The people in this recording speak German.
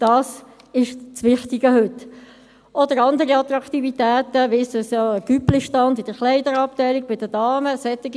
Dies ist das Wichtige heute oder andere Attraktivitäten, wie der Cüpli-Stand in der Kleiderabteilung bei den Damen, solche Dinge.